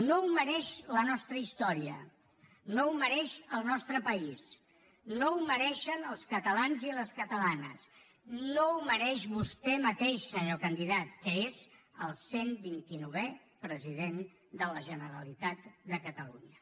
no ho mereix la nostra història no ho mereix el nostre país no ho mereixen els catalans i les catalanes no ho mereix vostè mateix senyor candidat que és el cent vint i novè president de la generalitat de catalunya